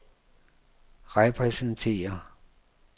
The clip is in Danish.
repræsenterer